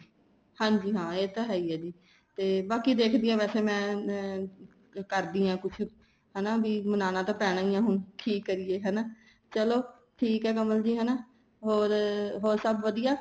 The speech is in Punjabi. ਹਾਂਜੀ ਹਾਂ ਇਹ ਤਾਂ ਹੈ ਜੀ ਬਾਕੀ ਦੇਖਦੇ ਆ ਵੈਸੇ ਵੀ ਮੈਂ ਕਰਦੀ ਆ ਕੁੱਛ ਹੈਨਾ ਮਨਾਣਾ ਤਾਂ ਪੈਣਾ ਹੀ ਏ ਹੁਣ ਕੀ ਕਰੀਏ ਹਨਾ ਚਲੋਂ ਠੀਕ ਏ ਕਮਲ ਜੀ ਹਨਾ ਹੋਰ ਹੋਰ ਸਭ ਵਧੀਆ